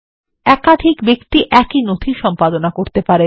একাধিক ব্যক্তি একই নথি সম্পাদনা করতে পারেন